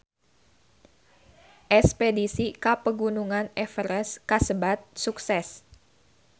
Espedisi ka Pegunungan Everest kasebat sukses